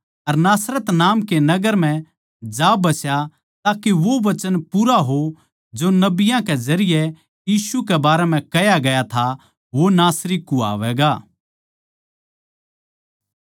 अर नासरत नाम कै नगर म्ह जा बस्या ताके वो वचन पूरा हो जो नबियाँ कै जरिये यीशु के बारें कह्या गया था वो नासरत का नासरी कुह्वावैगा